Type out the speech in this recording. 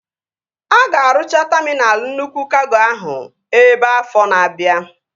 A ga-arụcha taminal nnukwu kago ahụ ebe afọ na-abia